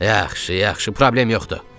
Yaxşı, yaxşı, problem yoxdur.